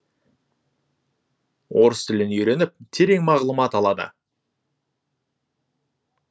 орыс тілін үйреніп терең мағлұмат алады